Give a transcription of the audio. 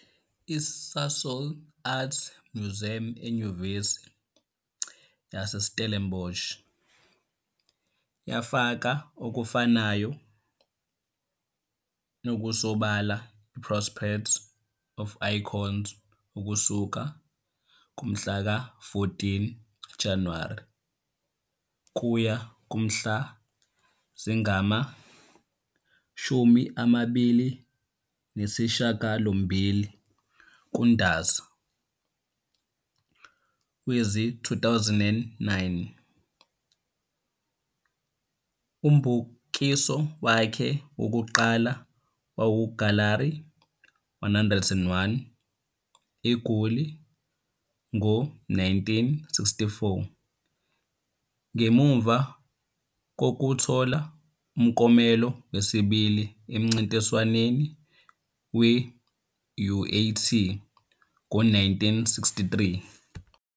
ISasol Art Museum eNyuvesi yaseStellenbosch yafaka okufanayo okusobala - I-Prospect of Icons ukusuka ngomhlaka 14 kuJanuwari kuya kumhla zingama-28 kuNdasa wezi-2009. Umbukiso wakhe wokuqala wawuseGalari 101, eGoli, ngo-1964 ngemuva kokuthola umklomelo wesibili emncintiswaneni we-UAT ngo-1963.